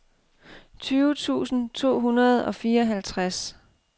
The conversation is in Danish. tyve tusind to hundrede og fireoghalvtreds